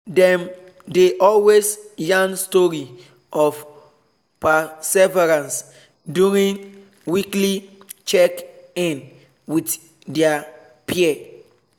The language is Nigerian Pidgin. them dey always yarn story of perseverance during weekly check in with their peer